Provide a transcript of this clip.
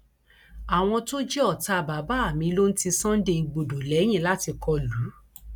àwọn tó jẹ ọtá bàbá mi ló ń ti sunday igbodò lẹyìn láti kọ lù ú